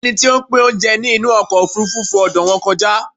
Ẹni tí o ń pín oúnjẹ ní inú ọkọ̀ òfurufú fo ọ̀dọ̀ wọn kọjá